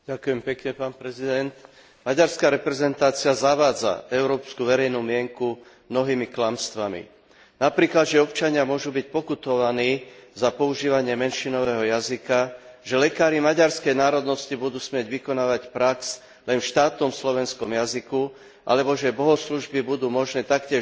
Maďarská reprezentácia zavádza európsku verejnú mienku mnohými klamstvami napríklad, že občania môžu byť pokutovaní za používanie menšinového jazyka, že lekári maďarskej národnosti budú smieť vykonávať prax len v štátnom slovenskom jazyku, alebo že bohoslužby budú možné taktiež len v štátnom jazyku.